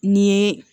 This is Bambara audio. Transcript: N'i ye